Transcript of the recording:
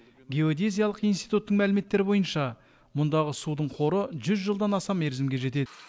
геодезиялық институттың мәліметтері бойынша мұндағы судың қоры жүз жылдан аса мерзімге жетеді